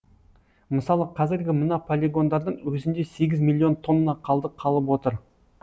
мысалы қазіргі мына полигондардың өзінде сегіз миллион тонна қалдық қалып отыр